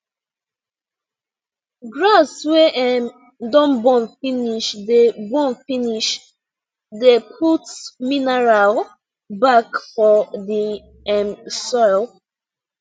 grass wey um don burn finish dey burn finish dey put minerial back for the um soil